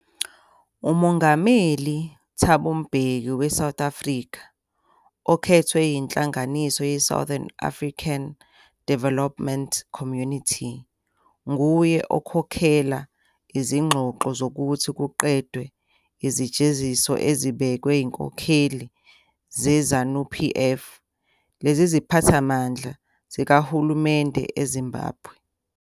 UMongameli Thabo Mbeki weSouth Africa, okhethwe yinhlanganiso yeSouthern African Development Community, nguye okhokhela izingxoxo zokuthi kuqedwe izijeziso ezibekwe inkokheli zeZANU-PF leziphathamandla zikahulumende eZimbabwe.